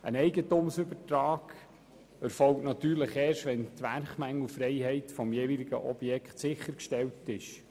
Ein Eigentumsübertrag erfolgt natürlich erst, wenn die Werkmängelfreiheit des jeweiligen Objekts sichergestellt ist.